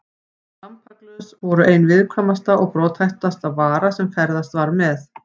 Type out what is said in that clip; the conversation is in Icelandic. Lampaglös voru ein viðkvæmasta og brothættasta vara sem ferðast var með.